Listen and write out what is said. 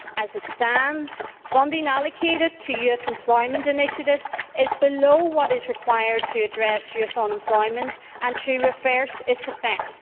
As it stands, funding allocated to youth employment initiatives is below what is required to address youth unemployment and to reverse its effects.